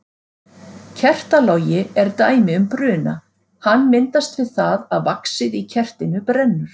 Kertalogi er dæmi um bruna, hann myndast við það að vaxið í kertinu brennur.